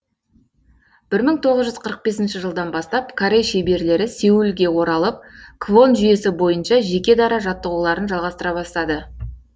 бір мың тоғыз жүз қырық бесінші жылдан бастап корей шеберлері сеулге оралып квон жүйесі бойынша жеке дара жаттығуларын жалғастыра бастады